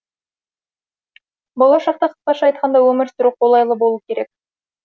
болашақта қысқаша айтқанда өмір сүру қолайлы болу керек